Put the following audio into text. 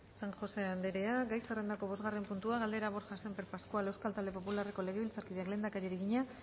san josé andrea gai zerrendako bosgarren puntua galdera borja sémper pascual euskal talde popularreko legebiltzarkideak lehendakariari egina